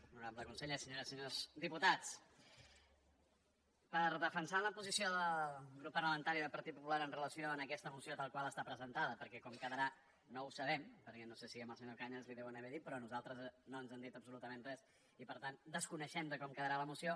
honorable conseller se·nyores i senyors diputats per defensar la posició del grup parlamentari del partit popular amb relació a aquesta moció tal qual està presentada perquè com quedarà no ho sabem perquè no sé si al senyor cañas li ho deuen haver dit però a nosaltres no ens han dit absolutament res i per tant desconeixem com quedarà la moció